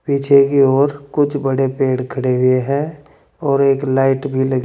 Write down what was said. पीछे की ओर कुछ बड़े पेड़ खड़े हुए हैं और एक लाइट भी लगी--